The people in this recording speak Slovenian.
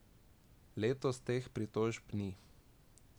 Letos teh pritožb ni.